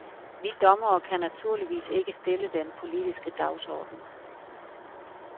Vi dommere kan naturligvis ikke stille den politiske dagsorden.